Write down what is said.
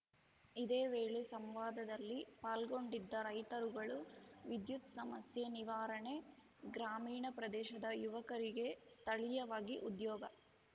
ಇದೇ ವೇಳೆ ಸಂವಾದದಲ್ಲಿ ಪಾಲ್ಗೊಂಡಿದ್ದ ರೈತರುಗಳು ವಿದ್ಯುತ್ ಸಮಸ್ಯೆ ನಿವಾರಣೆ ಗ್ರಾಮೀಣ ಪ್ರದೇಶದ ಯುವಕರಿಗೆ ಸ್ಥಳೀಯವಾಗಿ ಉದ್ಯೋಗ